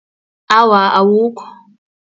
Awa, awukho.